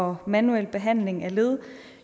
og manuel behandling af led